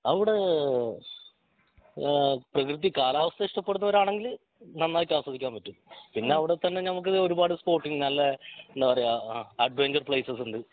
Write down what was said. അവിടെ ആഹ് പ്രകൃതി കാലാവസ്ഥ ഇഷ്ടപ്പെടുന്നവർ ആണെങ്കിൽ നന്നായിട്ട് ആസ്വദിക്കാൻ പറ്റും പിന്നെ അവിടെ തന്നെ നമുക്ക് ഒരുപാട് സ്‌പോട്ടിങ് നല്ല എന്താ പറയാ അഡ്വെഞ്ചർ പ്ലേയ്‌സസ് ഉണ്ട്